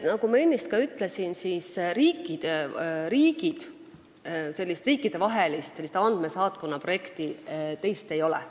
Nagu ma ennist ütlesin, teist riikidevahelist andmesaatkonnaprojekti ei ole.